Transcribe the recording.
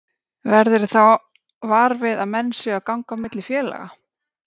Verðurðu þá var við að menn séu að ganga á milli félaga?